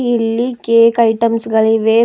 ಇಲ್ಲಿ cake items ಗಳಿವೆ.